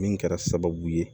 Min kɛra sababu ye